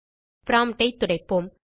promptஐ துடைப்போம்